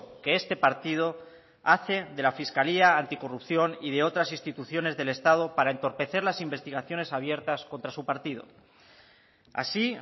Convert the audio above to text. que este partido hace de la fiscalía anticorrupción y de otras instituciones del estado para entorpecer las investigaciones abiertas contra su partido así